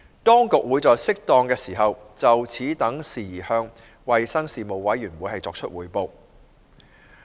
當局會在適當時候，就此等事宜向衞生事務委員會匯報。